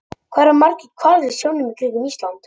Hvað eru margir hvalir í sjónum í kringum Ísland?